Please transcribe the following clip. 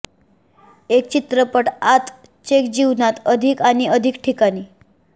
एक चित्रपट आत चेक जीवनात अधिक आणि अधिक ठिकाणी